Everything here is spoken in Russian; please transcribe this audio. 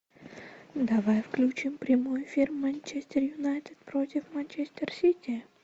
давай включим прямой эфир манчестер юнайтед против манчестер сити